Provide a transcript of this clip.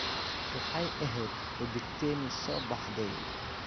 Waxay ahayd xidigteenii soo baxday.